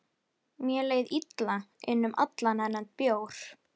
Mér leið illa innan um allan þennan bjór.